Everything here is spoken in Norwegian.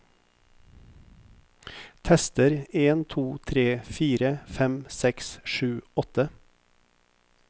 Tester en to tre fire fem seks sju åtte